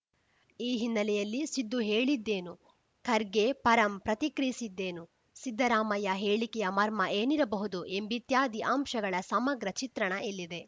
ಈ ಹಿನ್ನೆಲೆಯಲ್ಲಿ ಸಿದ್ದು ಹೇಳಿದ್ದೇನು ಖರ್ಗೆ ಪರಂ ಪ್ರತಿಕ್ರಿಯಿಸಿದ್ದೇನು ಸಿದ್ದರಾಮಯ್ಯ ಹೇಳಿಕೆಯ ಮರ್ಮ ಏನಿರಬಹುದು ಎಂಬಿತ್ಯಾದಿ ಅಂಶಗಳ ಸಮಗ್ರ ಚಿತ್ರಣ ಇಲ್ಲಿದೆ